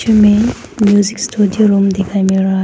में music studio room दिखाइ मिल रहा--